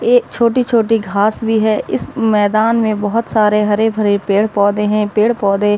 ए छोटे-छोटे घास भी हैं। इस मैदान में बहुत सारे हरे-भरे पेड़-पौधे हैं। पेड़-पौधे --